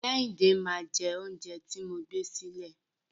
Kẹ́hìndé máa jẹ oúnjẹ tí mo gbé sílẹ̀.